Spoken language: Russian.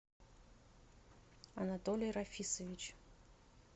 анатолий рафисович